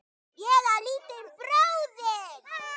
Líka trén og mamma.